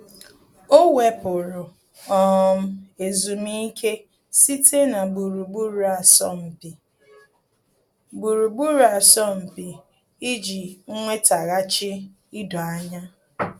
Ọ́ wèpụ̀rụ̀ um ezumike site na gburugburu asọmpi gburugburu asọmpi iji nwétàghàchí idoanya.